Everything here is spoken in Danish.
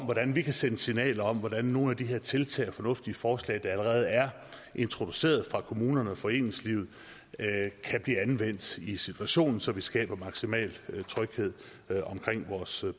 hvordan vi kan sende signaler om hvordan nogle af de her tiltag og fornuftige forslag der allerede er introduceret af kommunerne og foreningslivet kan blive anvendt i situationen så vi skaber maksimal tryghed omkring vores